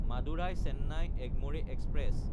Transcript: Madurai-Chennai Egmore express